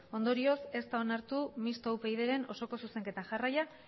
ondorioz ez da onartu mistoa upydren osoko zuzenketa jarraian